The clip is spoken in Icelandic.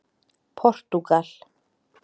Portúgal